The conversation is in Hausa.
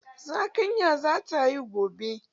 Zakanya zata haihu gobe